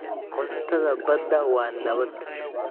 Cuntada badda waa nabad.